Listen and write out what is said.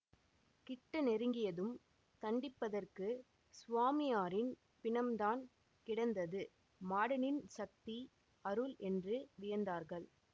கிட்ட நெருங்கியதும் தண்டிப்பதற்குச் சுவாமியாரின் பிணம்தான் கிடந்தது மாடனின் சக்தி அருள் என்று வியந்தார்கள்